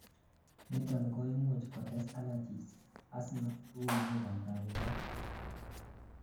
niton koimuch kotes allergies, asthma ak uinwek ab kabuset